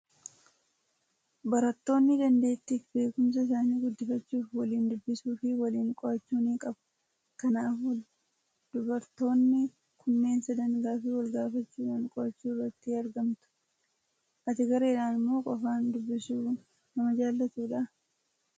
Barattoonni dandeettii fi beekumsa isaanii guddifachuuf waliin dubbisuu fi waliin qo'achuu ni qabu. Kannaafuu, dubartoonni kunneen sadan gaaffii wal gaafachuudhaan qo'achuu irratti argamtu. Ati gareedhaan moo qofaan dubbisuu nama jaalatudha?